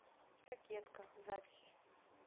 кокетка запись